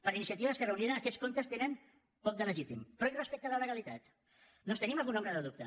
per iniciativa i esquerra unida aquests comptes tenen poc de legítim però i respecte a la legalitat doncs tenim alguna ombra de dubte